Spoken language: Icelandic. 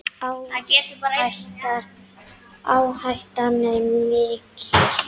Áhættan er mikil.